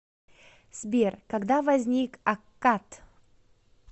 сбер когда возник аккад